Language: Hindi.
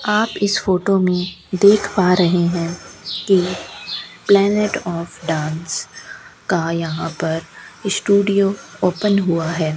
आप इस फोटो में देख पा रहे है कि प्लेनेट ऑफ डांस का यहां पर स्टूडियो ओपन हुआ है।